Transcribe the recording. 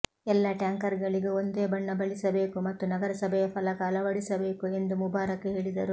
ಎಲ್ಲ ಟ್ಯಾಂಕರ್ಗಳಿಗೂ ಒಂದೇ ಬಣ್ಣ ಬಳಿಸಬೇಕು ಮತ್ತು ನಗರಸಭೆಯ ಫಲಕ ಅಳವಡಿಸಬೇಕು ಎಂದು ಮುಬಾರಕ್ ಹೇಳಿದರು